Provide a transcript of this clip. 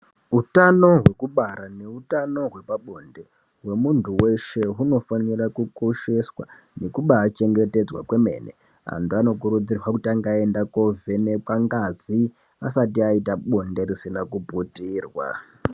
Utano wekubara nehutano wepabonde hwemundu weshe unofanirwa kukosheswa nekuti chengetedzwa kwemene wandu ano kurudzirwa kutange agenda kumbovhenekwa ngazi asati aita bonde risina kuputirwa.